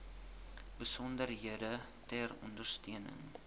besonderhede ter ondersteuning